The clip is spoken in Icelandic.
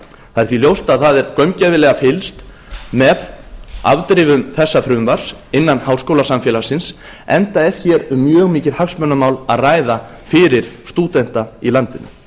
það er því ljóst að það er gaumgæfilega fylgst með afdrifum þessa frumvarps innan háskólasamfélagsins enda er hér um mjög mikið hagsmunamál að ræða fyrir stúdenta í landinu